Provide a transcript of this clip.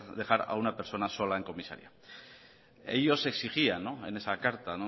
dejar a una persona sola en comisaría ellos exigían